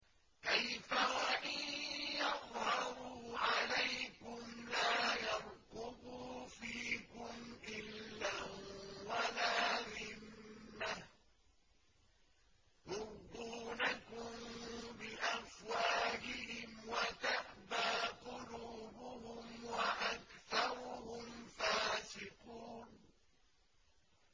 كَيْفَ وَإِن يَظْهَرُوا عَلَيْكُمْ لَا يَرْقُبُوا فِيكُمْ إِلًّا وَلَا ذِمَّةً ۚ يُرْضُونَكُم بِأَفْوَاهِهِمْ وَتَأْبَىٰ قُلُوبُهُمْ وَأَكْثَرُهُمْ فَاسِقُونَ